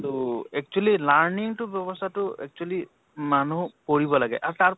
তʼ actually learning তো বেৱ্য়স্থা তো actually মানুহ পঢ়িব লাগে । আৰু তাৰ